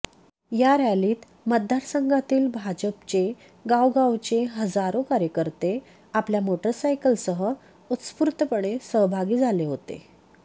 या रॅलीत मतदारसंघातील भाजपचे गावोगांवचे हजारो कार्यकर्ते आपल्या मोटरसायकल सह उत्स्फूर्तपणे सहभागी झाले होते